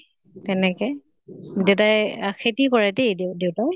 তেনেকে। দেউতাই আহ খেতি কৰে দে দেউ দেউতাই